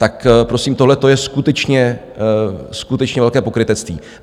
Tak prosím, tohleto je skutečně velké pokrytectví.